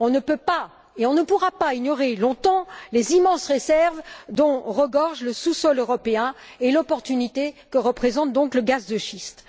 On ne peut pas et on ne pourra pas ignorer longtemps les immenses réserves dont regorge le sous sol européen et l'opportunité que représente le gaz de schiste.